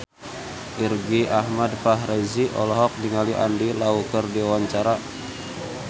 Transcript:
Irgi Ahmad Fahrezi olohok ningali Andy Lau keur diwawancara